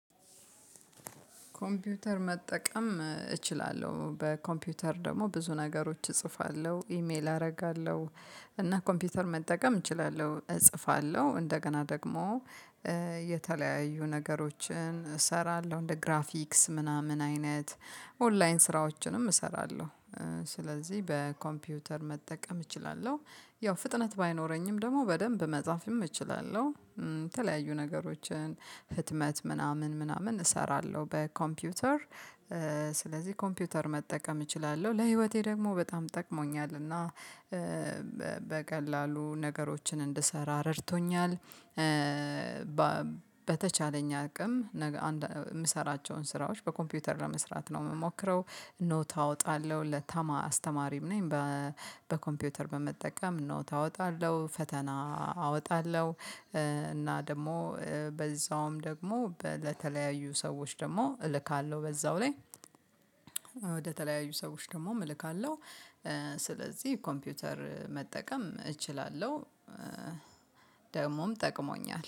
ኮምፒውተር መጠቀም እችላለሁ በኮምፒውተር ደግሞ ብዙ ነገሮች እጽፋለሁ ኢሜል አደርጋለሁ እና ኮምፒውተር መጠቀም እችላለሁ እጽፋለሁ እንደገና ደግሞ የተለያዩ ነገሮችን እሰራለሁ እንደ ግራፊክስ ምናምን አይነት ኦንላይን ስራዎችንም እሰራለሁ። ስለዚህ በኮምፒውተር መጠቀም እችላለሁ ያው ፍጥነት ባይኖረኝም ደግሞ በደንብ መጻፍም እችላለሁ የተለያዩ ነገሮችን ህትመት ምናምን ምናምን እሰራለሁ በኮምፒውተር። ስለዚህ ኮምፒውተር መጠቀም እችላለሁ ለህይወቴ ደግሞ በጣም ጠቅሞኛልና እና በቀላሉ ነገሮችን እንድሰራ ረድቶኛል። በተቻለኝ አቅም የምሰራቸውን ስራዎች በኮምፒውተር ለመስራት ነው የምሞክረው ኖት አወጣለሁ ለተማሪ አስተማሪም ነኝ። በኮምፒውተር በመጠቀም ኖት አወጣለሁ ፈተና አወጣለሁ። እና ደግሞ በዛውም ደግሞ ለተለያዩ ሰዎች ደግሞ እልካለሁ በዛው ላይ ወደተለያዩ ሰዎች ደግሞ እልካለሁ። ስለዚህ ኮምፒውተር መጠቀም እችላለሁ ደግሞም ጠቅሞኛል